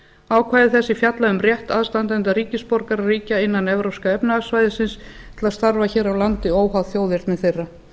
ákvæði þessi fjalla um rétt aðstandenda ríkja innan evrópska efnahagssvæðisins til að starfa hér á landi óháð þjóðerni þeirra